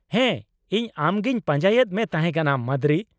ᱦᱮᱸ, ᱤᱧ ᱟᱢᱜᱮᱧ ᱯᱟᱸᱡᱟᱭᱮᱫ ᱢᱮ ᱛᱟᱦᱮᱸ ᱠᱟᱱᱟ, ᱢᱟᱫᱨᱤ ᱾